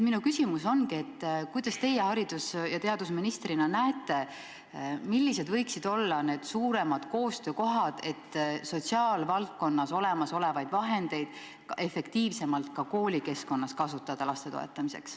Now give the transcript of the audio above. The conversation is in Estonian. Minu küsimus ongi, kuidas teie haridus- ja teadusministrina näete, millised võiksid olla need suuremad koostöökohad, et sotsiaalvaldkonnas olemasolevaid vahendeid efektiivsemalt ka koolikeskkonnas kasutada laste toetamiseks.